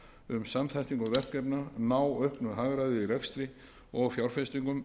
um samþættingu verkefna ná auknu hagræði í rekstri og fjárfestingum